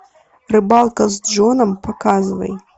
рыбалка с джоном показывай